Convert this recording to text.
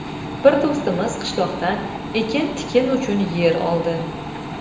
Bir do‘stimiz qishloqdan ekin-tikin uchun yer oldi.